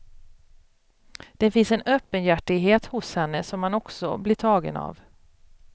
Det finns en öppenhjärtighet hos henne som man också blir tagen av.